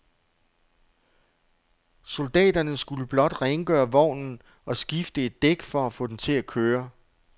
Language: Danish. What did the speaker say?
Soldaterne skulle blot rengøre vognen og skifte et dæk for at få den til at køre.